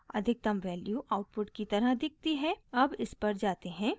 अधिकतम value output की तरह दिखती है अब इस पर जाते हैं